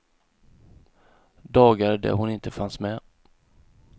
Dagar där hon inte fanns med.